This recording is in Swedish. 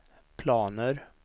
planer